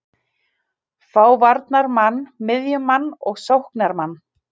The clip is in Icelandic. Fá varnarmann, miðjumann og sóknarmann.